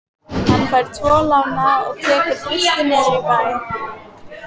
Hann fær tvo lánaða og tekur Þristinn niður í bæ.